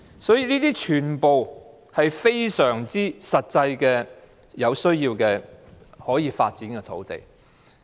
因此，這些全部都是實際上可以發展的土地。